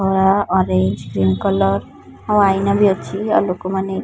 ଧଳା orange green colour ଓ ଆଇନା ଭି ଅଛି ଆଉ ଲୋକମାନେ।